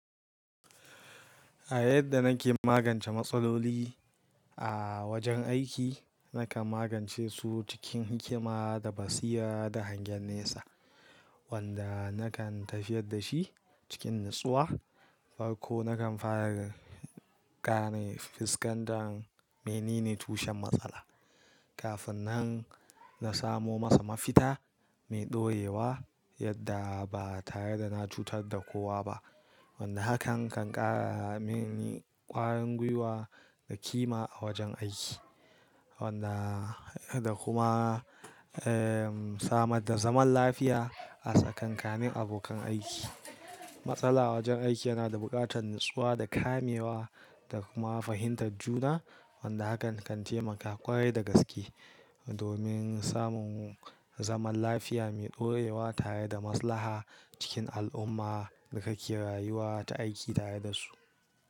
A yadda nake magance matsaloli a wajen aiki, nakan magance su cikin hikima da basira da hangen nesa wanda nakan tafiyar da shi cikin natsuwa. Farko, nakan fara gane fuskantar me nene tushen matsala kafin nan na samo masa mafita mai ɗorewa yadda ba tare da na cutar da kowa ba. Wanda hakan kan ƙara mini ƙwarin gwiwa da kima a wajen aiki, wanda da kuma, eh, samar da zaman lafiya a tsakanin abokan aiki. Matsala a wajen aiki yana da buƙatar natsuwa da kamewa da kuma fahimtar juna, wanda hakan kan taimaka ƙwarai da gaske domin samun zaman lafiya mai ɗorewa tare da maslaha cikin al'umma da kake rayuwa ta aiki tare da su.